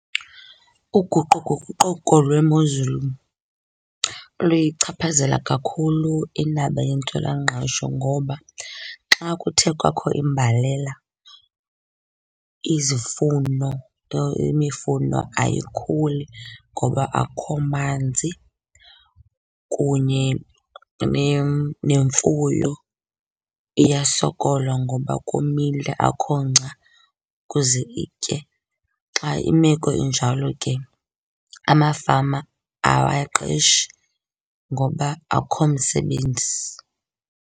Uguquguquko lwemozulu luyichaphazela kakhulu indaba yentswelangqesho ngoba xa kuthe kwakho imbalela izifuno, imifuno ayikhuli ngoba akho manzi, kunye nemfuyo iyasokola ngoba komile akho ngca ukuze itye. Xa imeko injalo ke amafama awaqeshi ngoba akho msebenzi.